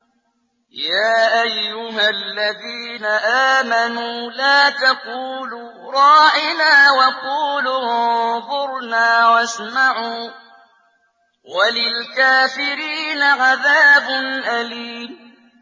يَا أَيُّهَا الَّذِينَ آمَنُوا لَا تَقُولُوا رَاعِنَا وَقُولُوا انظُرْنَا وَاسْمَعُوا ۗ وَلِلْكَافِرِينَ عَذَابٌ أَلِيمٌ